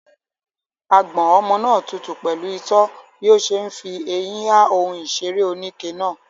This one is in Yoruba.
Àgbọ̀n ọmọ náà tutù pẹ̀lú itọ́ bí ó ṣe ń fi eyín ha ohun ìṣeré oníke náà.